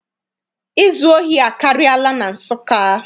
Izu ohi akarịala na Nsụka.